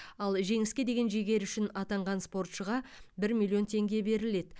ал жеңіске деген жігері үшін атанған спортшыға бір миллион теңге беріледі